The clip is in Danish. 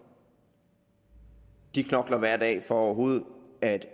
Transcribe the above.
de knokler hver dag for overhovedet